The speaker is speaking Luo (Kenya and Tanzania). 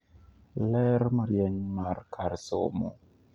ler marieny mar kar somo